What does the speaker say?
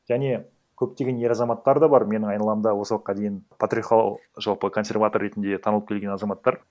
және көптеген ер азаматтар да бар менің айналамда осы уақытқа дейін жалпы консерватор ретінде таңылып келген азаматтар